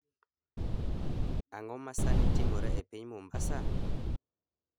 Ang’o ma sani timore e piny Mombasa?